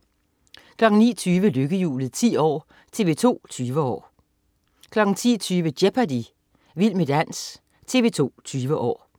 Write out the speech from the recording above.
09.20 Lykkehjulet 10 år. TV 2 20 år 10.20 Jeopardy! Vild med dans. TV 2 20 år